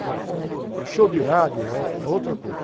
Agora, ãh, show de rádio é ou, é outra coisa.